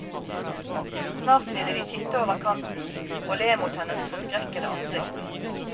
Snart ville de titte over kanten, og le mot hennes forskrekkede ansikt.